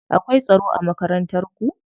Akwai tsaro a Makarantar ku?